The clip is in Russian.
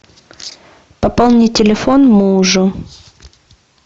пополни телефон мужу